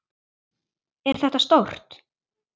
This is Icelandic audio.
Er þetta stórt?